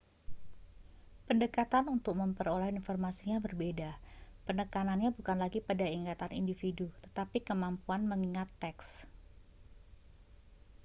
pendekatan untuk memperoleh informasinya berbeda penekanannya bukan lagi pada ingatan individu tetapi kemampuan mengingat teks